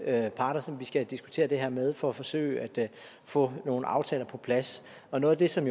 parter som vi skal have diskuteret det her med for at forsøge at få nogle aftaler på plads og noget af det som